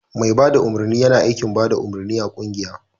Mai bada umarni yina aiki bada umarni a kungiya